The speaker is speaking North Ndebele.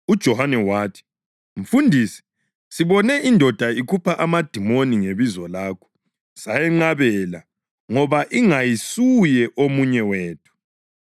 UJohane wathi, “Mfundisi, sibone indoda ikhupha amadimoni ngebizo lakho, sayenqabela ngoba ingayisuye omunye wethu.”